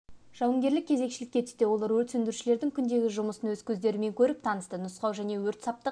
жауынгерлік кезекшілікке түсті олар өрт сөндірушілердің күндегі жұмысын өз көздерімен көріп танысты нұсқау және өрт-саптық